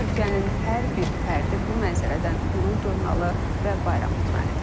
Türkiyənin hər bir fərdi bu mənzərədən qürur duymalı və bayram etməlidir.